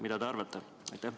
Mida te arvate?